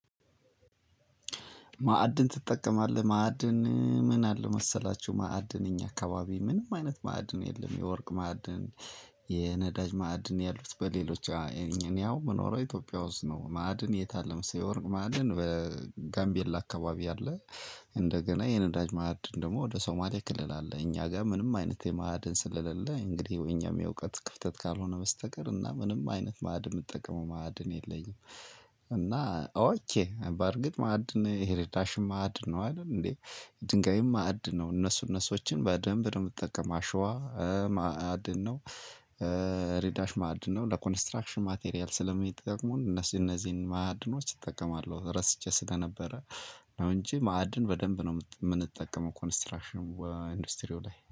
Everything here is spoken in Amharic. ማዕድን ትጠቀማለህ ማዕድን ምን አለው መሰላችሁ ማዕድን እኛ አካባቢ ምንም አይነት ማዕድን የለም የወርቅ ማዕድን የነዳጅ ማዕድን ያሉት በሌሎች እኔ አሁን የምኖረው ኢትዮጵያ ውስጥ ነው። ማዕድን የት አለ መሰለህ የወርቅ ማዕድን በጋምቤላ አካባቢ አለ። እንደገና የነዳጅ ማዕድን ደግሞ ወደ ሶማሌ ክልል አለ። እኛ ጋር ምንም አይነት የማዕድን ስለሌለ እንግዲህ እኛም የእውቀት ክፍተት ካልሆነ በስተቀር እና ምንም አይነት ማዕድን የምጠቀመው ማዕድን የለኝም። እና ኦኬ በእርግጥ ማዕድን ሄሬዳሽማድ ነው አይደል እንዴ፤ ድንጋይም ማዕድን ነው እነሱ እነሱን በደንብ ነው የምጠቀመው አሸዋ ማዕድን ነው። ሬዳሽ ማዕድን ነው። ለኮንስትራክሽን ማቴሪያል ስለሚጠቅሙን እነዚህ እነዚህን ማዕድኖች እጠቀማለሁ፤ ረስቼ ስለነበረ ነው እንጂ ማዕድን በደንብ ነው የምንጠቀመው ኮንስትራክሽን ኢንዱስትሪው ላይ